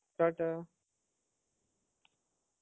ta-ta